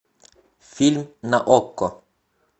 фильм на окко